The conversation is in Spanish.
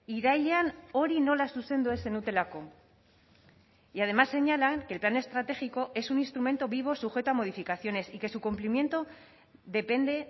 irailean hori nola zuzendu ez zenutelako y además señalan que el plan estratégico es un instrumento vivo sujeto a modificaciones y que su cumplimiento depende